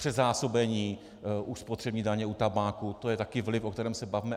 Předzásobení u spotřební daně u tabáku, to je také vliv, o kterém se bavme.